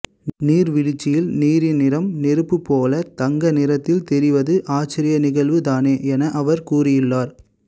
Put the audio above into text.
நீர்வீழ்ச்சியில் நீரின் நிறம் நெருப்பு போல தங்க நிறத்தில் தெரிவது ஆச்சரிய நிகழ்வு தானே என அவர் கூறியுள்ளார்